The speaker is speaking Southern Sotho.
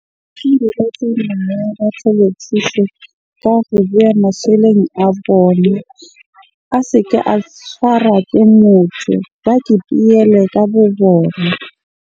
Ka ho boya a bone. A se ke a tshwara ke motho. Ba ke ka bo bona.